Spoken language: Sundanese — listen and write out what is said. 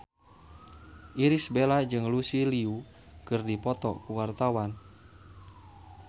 Irish Bella jeung Lucy Liu keur dipoto ku wartawan